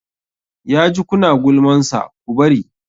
Ya ji ku na gulmansa, ku bari!